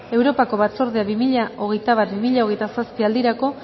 europako batzordeak bi mila hogeita bat bi mila hogeita zazpi aldirako